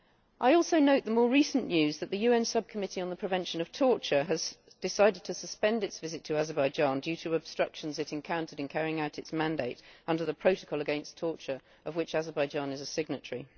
I also note the most recent news that the UN Subcommittee on the Prevention of Torture has decided to suspend its visit to Azerbaijan due to obstructions it encountered in carrying out its mandate under the Protocol Against Torture, of which Azerbaijan is a signatory.